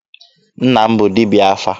Nna m bụ dibịa afa.